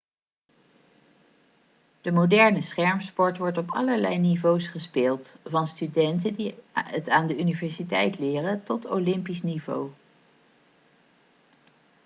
de moderne schermsport wordt op allerlei niveaus gespeeld van studenten die het aan de universiteit leren tot olympisch niveau